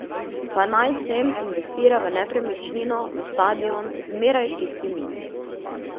Pa naj sem investiral v nepremičnino, v stadion, zmeraj čisti minus.